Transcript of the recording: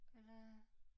Eller